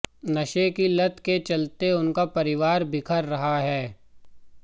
नशे की लत के चलते उनका परिवार बिखर रहा है